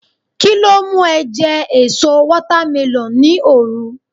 kilo mu e je èso watermelon ni oru